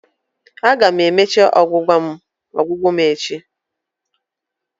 Aga m emecha ọgwụgwọ m echi